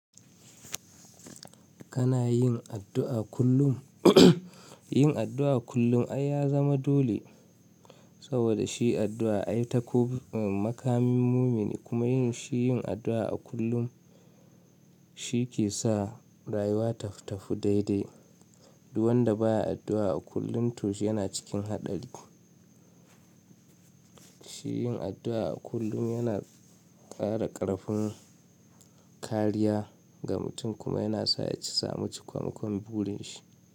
Kana yin addu'a kullum? Yin addu'a kullum ai ya zama dole saboda shi addu'a ai ta ko makamin mumini kuma yin shi yin addu'a a kullum shi ke sa rayuwa ta fi tafu daidai. Duk wanda ba ya addu'a a kullum to shiyana cikin haɗari. Shi yin addu'a a kullum yana ƙara ƙarfin kariya ga mutum kuma yana sa ya sami cikon-ikon burin shi.